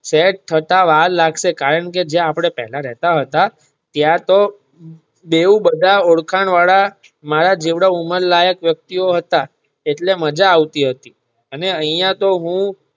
Set થતા વાર લાગશે કારણ કે જ્યાં આપણે પેલા રહેતા હતા ત્યાં તો બેવ બધા ઓણખાણ વાળા મારા જેવડા ઉમર લાયક વ્યક્તિ ઓ હતા એટલે માજા આવતી હતી અને અહીંયા તો હું.